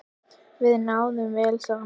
Við náðum vel saman.